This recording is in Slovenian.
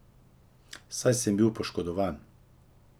Saj sem bil poškodovan.